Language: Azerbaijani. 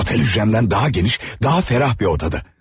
Otel hücrəmdən daha geniş, daha fərah bir otaqda.